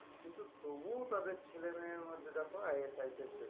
কিন্তু তোবুও তার ছেলে মেয়ের মধ্যে দেখো এক একটা